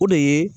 O de ye